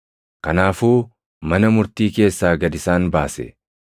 Kanaafuu mana murtii keessaa gad isaan baase.